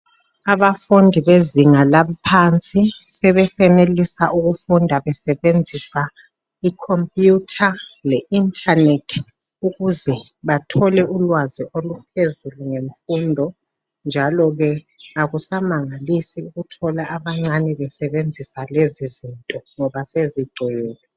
Abafundi bezinga laphansi sebesenelisa ukufunda besebenzisa icomputer le internet ukuze bathole ukwazi oluphezulu ngemfundo. Njalo akusamangalisi ukuthola abancane besebenzisa lezi zinto ngoba sezigcwele.